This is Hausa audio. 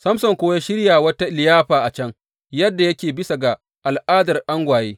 Samson kuwa ya shirya wata liyafa a can, yadda yake bisa ga al’adar angwaye.